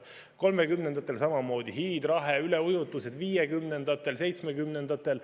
1930‑ndatel samamoodi, hiidrahe, üleujutused, ka 1950‑ndatel ja 1970‑ndatel.